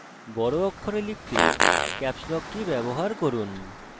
বড় অক্ষরে লিখতে caps lock key ব্যবহার করুন